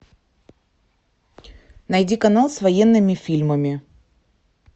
найди канал с военными фильмами